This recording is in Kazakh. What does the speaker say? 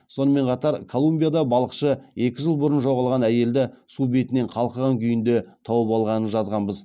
сонымен қатар колумбияда балықшы екі жыл бұрын жоғалған әйелді су бетінен қалқыған күйінде тауып алғанын жазғанбыз